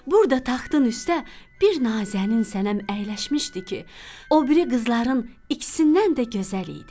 Burda taxtın üstə bir Nazənin sənəm əyləşmişdi ki, o biri qızların ikisindən də gözəl idi.